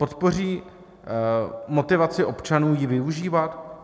Podpoří motivaci občanů ji využívat?